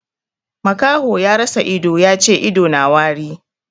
Makaho ya rasa ido ya ce ido na wari.